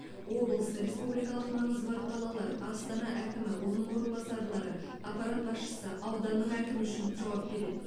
облыс республикалық маңызы бар қалалар астана әкімі оның орынбасарлары аппарат басшысы ауданның әкімі үшін жауап береді